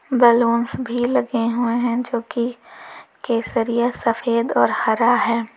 Balloons भी लगे हुए हैं जो की केसरिया सफेद और हरा है।